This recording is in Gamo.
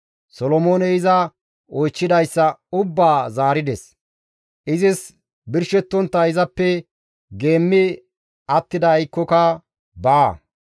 Solomooney iza oychchidayssa ubbaa zaarides; izis birshettontta izappe geemmi attiday aykkoyka baa.